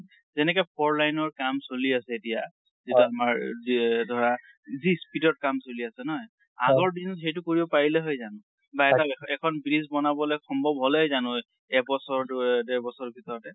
যেনেকে four line ৰ কাম চলি আছে এতিয়া, যিটো আমাৰ যি ধৰা যি speed অত কাম চলি আছে নহয় , এগৰ দিনত সেইটো কৰিব পাৰিলে হয় জানো? বা এখন bridge বনাবলৈ সম্ভৱ হল হয় জানো এবছৰ~ ডু~ এ ডেৰবছৰ ভিতৰতে?